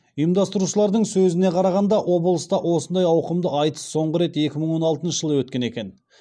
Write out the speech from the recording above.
ұйымдастырушылардың сөзіне қарағанда облыста осындай ауқымды айтыс соңғы рет екі мың он алтыншы жылы өткен екен